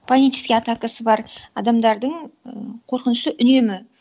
панический атакасы бар адамдардың і қорқынышы үнемі